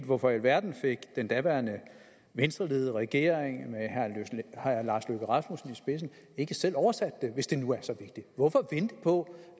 hvorfor i alverden fik den daværende venstreledede regering med herre lars løkke rasmussen i spidsen ikke selv oversat det hvis det nu er så vigtigt hvorfor vente på